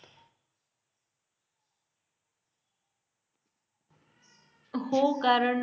हो कारण